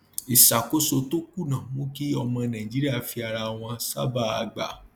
ìṣàkóso tó kùnà mú kí ọmọ nàìjíríà fi ara wọn sábàá gbà